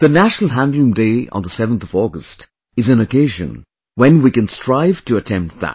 The National Handloom Day on the 7th of August is an occasion when we can strive to attempt that